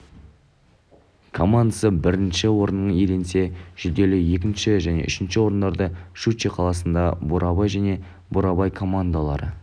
командасы бірінші орын иеленсе жүлделі екінші және үшінші орындарды щучье қаласындағы бурабай және бурабай командалары